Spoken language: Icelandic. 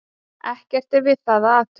Ekkert er við það að athuga.